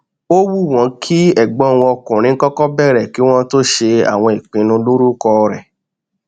ó wù wọn kí ẹgbọn wọn ọkùnrin kọkọ bèrè kí wọn tó ṣe àwọn ìpinnu lórúkọ rẹ